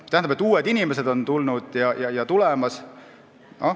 See tähendab, et tulnud ja tulemas on uued inimesed.